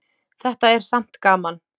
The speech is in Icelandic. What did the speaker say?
Þetta er samt gaman.